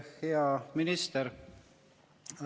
Hea minister!